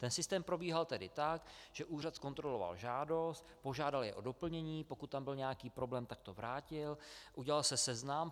Ten systém probíhal tedy tak, že úřad zkontroloval žádost, požádal je o doplnění, pokud tam byl nějaký problém, tak to vrátil, udělal se seznam.